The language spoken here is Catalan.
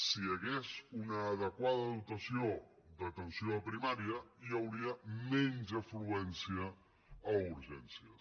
si hi hagués una adequada dotació d’atenció a primària hi hauria menys afluència a urgències